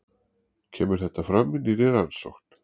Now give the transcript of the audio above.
Kemur þetta fram í nýrri rannsókn